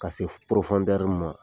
Ka se ma.